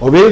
og við